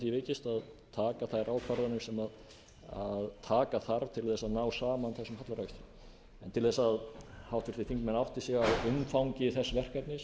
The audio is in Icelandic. því vikist að taka þær ákvarðanir sem taka þarf til að ná saman þessum hallarekstri til að háttvirtir þingmenn átti sig á umfangi þess verkefnis